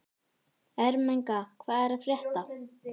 Ermenga, hvað er að frétta?